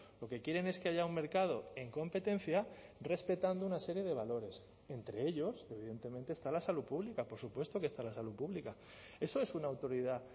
lo que quieren es que haya un mercado en competencia respetando una serie de valores entre ellos evidentemente está la salud pública por supuesto que está la salud pública eso es una autoridad